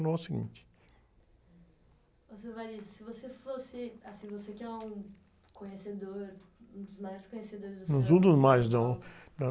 carnaval seguinte.) seu, se você fosse, assim, você que é um conhecedor, um dos maiores conhecedores do samba...ão sou um dos mais, não.